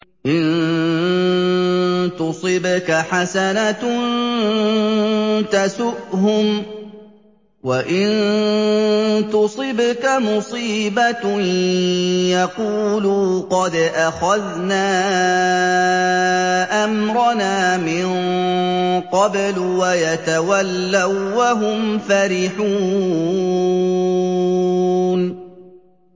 إِن تُصِبْكَ حَسَنَةٌ تَسُؤْهُمْ ۖ وَإِن تُصِبْكَ مُصِيبَةٌ يَقُولُوا قَدْ أَخَذْنَا أَمْرَنَا مِن قَبْلُ وَيَتَوَلَّوا وَّهُمْ فَرِحُونَ